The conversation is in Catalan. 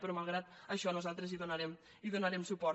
però malgrat això nosaltres hi donarem suport